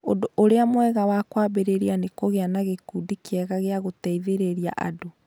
Ũndũ ũrĩa mwega wa kwambĩrĩria nĩ kũgĩa na gĩkundi kĩega gĩa gũteithĩrĩria andũ.